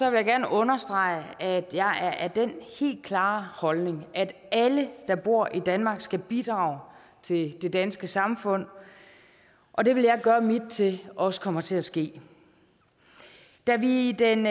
jeg gerne understrege at jeg er af den helt klare holdning at alle der bor i danmark skal bidrage til det danske samfund og det vil jeg gøre mit til også kommer til at ske da vi i den